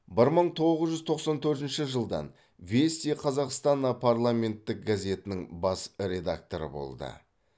бір мың тоғыз жүз тоқсан төртінші жылдан вести казахстана парламенттік газетінің бас редакторы болды